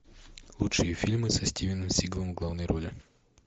лучшие фильмы со стивеном сигалом в главной роли